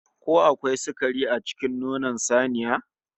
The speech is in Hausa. Ko akwai sukari a cikin nonon saniya?